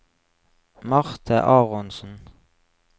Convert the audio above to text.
Marte Aronsen